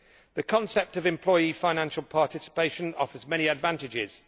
The concept of employee financial participation offers many advantages.